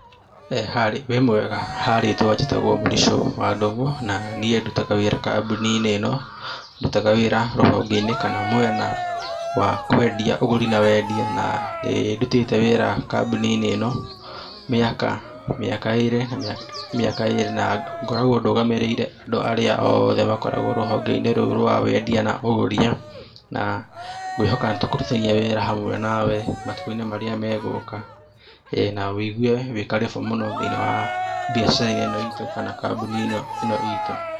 Harĩ, wĩ mwega ha rĩtwa njĩtagwo Mũricho wa Ndung'u na niĩ ndutaga wĩra kambuni-inĩ ĩno ndutaga wĩra rũhonge-inĩ kana mwena wa kwendia, ũgũri na wendia na nĩ ndutĩte wĩra kambuni-inĩ ĩno mĩaka mĩaka ĩrĩ, mĩaka ĩrĩ na ngoragwo ndũgamĩrĩire andũ arĩa oothe makoragwo rũhonge-inĩ rũu rwa wendia na ũgũri na ngwĩhoka nĩ tũkũrutithania wĩra hamwe nawe matukũ-inĩ marĩa megũka ĩĩ na wũigue wĩ karĩbũ mũno thĩinĩ wa biacara ĩno itũ kana kambuni ĩno itũ.